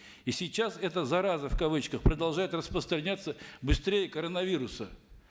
и сейчас эта зараза в кавычках продолжает распространяться быстрее коронавируса